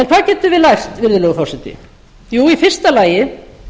hvað getum við lært virðulegur forseta jú í fyrsta lagi